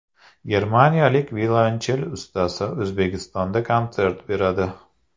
Germaniyalik violonchel ustasi O‘zbekistonda konsert beradi.